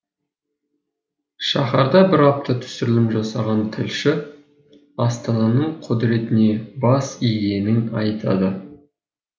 шаһарда бір апта түсірілім жасаған тілші астананың құдіретіне бас игенін айтады